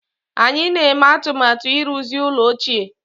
Anyị na-eme atụmatụ ịrụzi ụlọ ochie